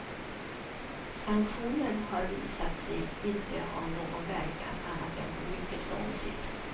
Sanktioner har visat sig inte ha någon verkan annat än på mycket lång sikt.